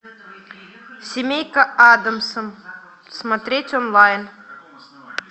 семейка адамс смотреть онлайн